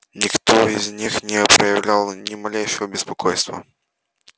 никто из них не проявлял ни малейшего беспокойства